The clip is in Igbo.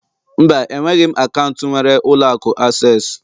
Mba, enweghị m akaụntụ nwere ụlọ akụ access